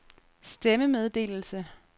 stemmemeddelelse